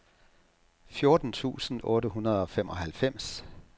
fjorten tusind otte hundrede og femoghalvfems